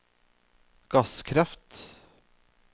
gasskraft